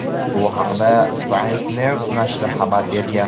Bu haqda "Science News" nashri xabar bergan.